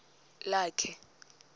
lakhe